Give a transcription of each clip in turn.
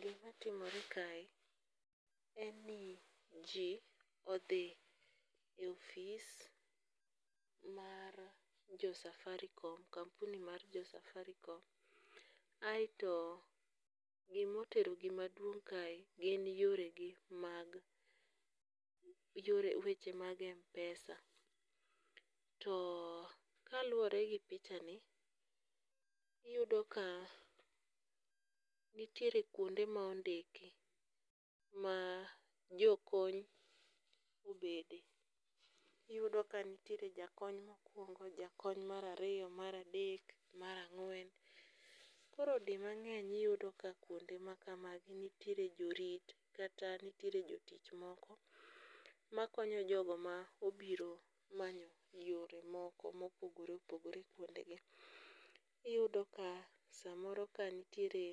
Gimatimore kae en ni ji odhi e office mar jo Safaricom kampuni mar jo Safaricom, aeto gima oterogi maduong' kae gin yoregi mag, weche mar Mpesa, too kaluore gi pichani, iyudo ka nitiere kuonde ma ondiki ma jo kony obende. Iyudo ka nitiere jakony mokuongo, jakony marariyo, maradek, marang'wen. Koro dimang'eny iyudo ka kuonde makamagi nitiere jorit kata nitiere jotich moko makonyo jogo ma obiro manyo yore moko mopogore opogore kuondegi. Iyudo ka samoro ka nitiere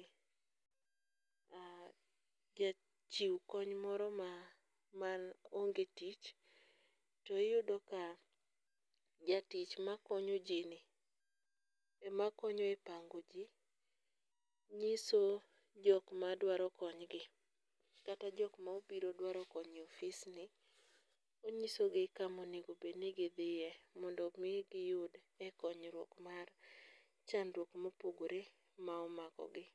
jachiw kony moro ma maong'e tich, tiyudo ka jatich makonyoji ni emakonyo e pango ji, nyiso jok maduaro konygi, kata jok ma obiro dwaro kony e office ni onyisogi kama onego obed ni gidhie mondo mi diyud e konyruok mar chandruok mopogore ma omakogi